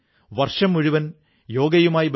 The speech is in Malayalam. ഐക്യത്തിലൂടെ നാം പുതിയ ഉയരങ്ങളിലെത്തും